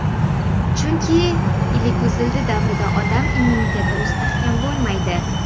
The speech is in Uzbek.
Chunki iliguzildi davrida odam immuniteti mustahkam bo‘lmaydi.